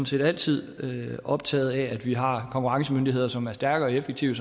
set altid optaget af at vi har konkurrencemyndigheder som er stærke og effektive